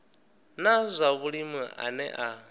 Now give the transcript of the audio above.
na zwa vhulimi ane a